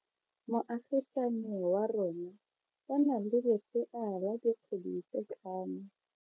Moagisane wa rona o na le lesea la dikgwedi tse tlhano.